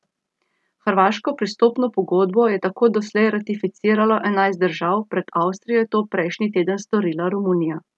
Hrvaško pristopno pogodbo je tako doslej ratificiralo enajst držav, pred Avstrijo je to prejšnji teden storila Romunija.